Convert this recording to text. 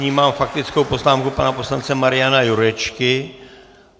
Nyní mám faktickou poznámku pana poslance Mariana Jurečky.